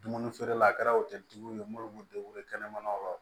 Dumuni feerela kɛra o tɛ jugu ye minnu b'u kɛnɛmanaw la